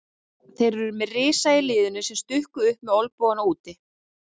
Þeir eru með risa í liðinu sem stukku upp með olnbogana úti.